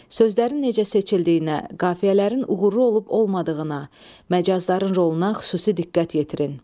Sözlərin necə seçildiyinə, qafiyələrin uğurlu olub-olmadığına, məcazların roluna xüsusi diqqət yetirin.